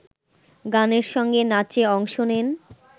গানের সঙ্গে নাচে অংশ নেন